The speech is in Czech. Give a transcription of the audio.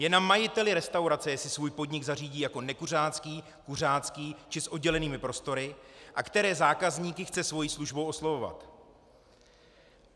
Je na majiteli restaurace, jestli svůj podnik zařídí jako nekuřácký, kuřácký či s oddělenými prostory a které zákazníky chce svojí službou oslovovat.